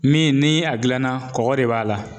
Min ni a gilanna kɔgɔ de b'a la